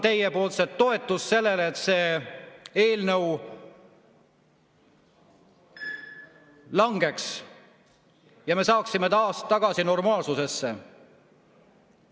Ma ootan teie toetust sellele, et see eelnõu langeks ja me saaksime taas tagasi normaalsusesse.